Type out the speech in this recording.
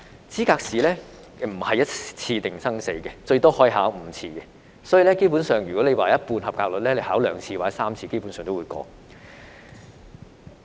資格試並不是一次定生死，最多可以考5次，所以如果及格率是一半，考兩三次基本上也可以通過。